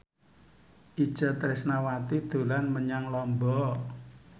Itje Tresnawati dolan menyang Lombok